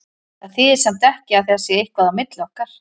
Það þýðir samt ekki að það sé eitthvað á milli okkar.